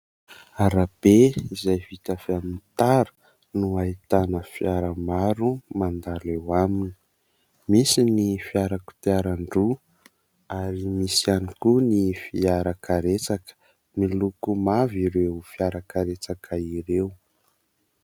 Arabe izay vita avy amin'ny tara, no ahitana fiara maro mandalo eo aminy; misy ny fiara kodiaran-droa, ary misy ihany koa ny fiarakaretsaka; miloko mavo ireo fiarakaretsaka ireo.